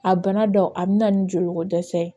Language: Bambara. A bana dɔ a bɛna ni joliko dɛsɛ ye